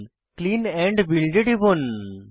clean and build এ টিপুন